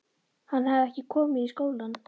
Hann hafði ekki komið í skólann.